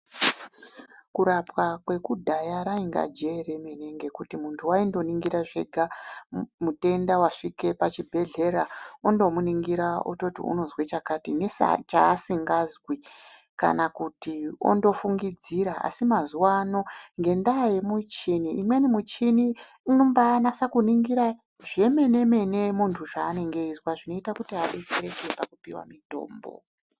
Kurapwa kwekudhaya rainga jee remene ngekuti munhu waingoningira zvega mutenda wasvie pachibhelheya ondomuningira ototi unezwe chakati nechasikazwi kana kuti ondofungidzira asi mazuwa ano ,ngendaa yemuchini imweni muchini inombaanase kuningira zvemenemene muntu zvaanenge eizwa zvinoita kuti adetsereke pakupiwa mutombo.